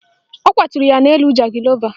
Ọ kwaturu ya n'elu jangịlova